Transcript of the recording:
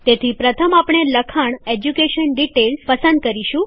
તેથી પ્રથમ આપણે લખાણ એજ્યુકેશન ડીટેઈલ્સ પસંદ કરીશું